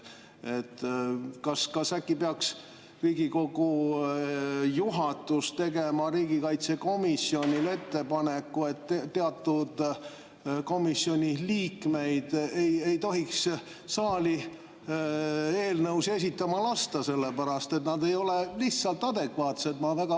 Kas äkki peaks Riigikogu juhatus tegema riigikaitsekomisjonile ettepaneku, et teatud komisjoni liikmeid ei tohiks saali eelnõusid esitama lasta, sellepärast et nad ei ole lihtsalt adekvaatsed?